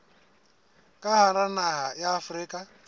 ka hara naha ya afrika